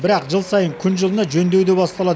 бірақ жыл сайын күн жылына жөндеу де басталады